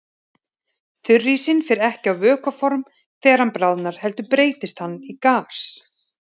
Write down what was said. Þurrísinn fer ekki á vökvaform þegar hann bráðnar heldur breytist hann í gas.